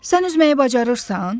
Sən üzməyi bacarırsan?